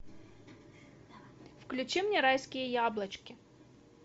включи мне райские яблочки